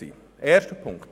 Punkt 1